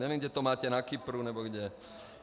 Nevím, jestli to máte na Kypru nebo kde.